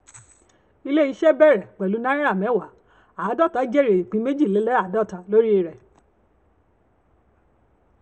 ilé-iṣẹ́ bẹ̀rẹ̀ pẹ̀lú náírà mẹ́wàá àádọ́ta jèrè ìoín méjìléláàádọ́ta lórí rẹ̀.